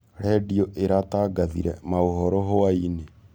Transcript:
Redĩo ĩratangathĩre maũhoro hwaĩnĩ.